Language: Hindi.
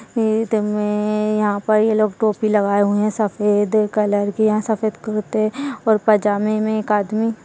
ईद मे यहाँ पर ये लोग टोपी लगाए हुए हैं सफेद कलर की यहाँ सफेद कुर्ते और पैजामे मे एक आदमी --